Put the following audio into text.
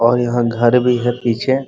और यहाँ घर भी है पीछे--